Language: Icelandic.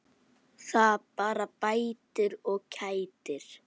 Það bara bætir og kætir.